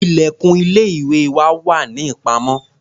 Ilẹ̀kùn ilé-ìwé wà ní ìpamọ́.